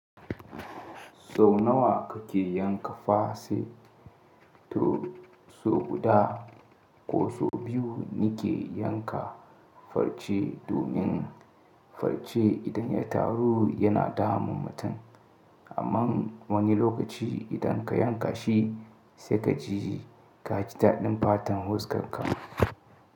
Sau nawa kake yanka fase? To so guda ko so biyu nike yanka farce domin farce idan ya taru yana damun mutum. Amma wani lokaci idan ka yanka shi sai ka ji ka ji daɗin fatan huskarka.